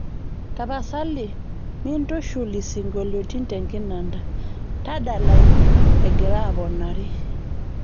tapasali mintushul isingolioitin tenkinanda tadalayu egiraaponari